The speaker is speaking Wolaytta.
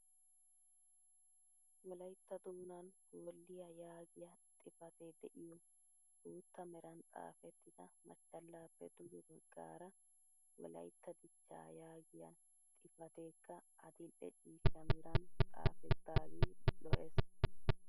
Wolayttaa doonan "Hoolliyaa" yaagiyaa xifatee de'iyoo bootta meran xaafettida machchallaappe duge baggaara wolaytta dichchaa yaagiyaa xifateekka adil'e ciishsha meran xaafetagee lo'ees.